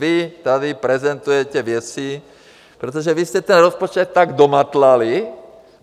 Vy tady prezentujete věci - protože vy jste ten rozpočet tak domatlali!